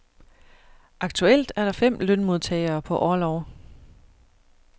Aktuelt er der fem lønmodtagere på orlov.